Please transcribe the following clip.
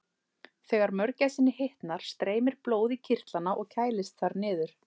Þegar mörgæsinni hitnar streymir blóð í kirtlana og kælist þar niður.